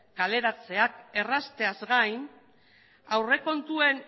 kaleratzeak errazteaz gain aurrekontuen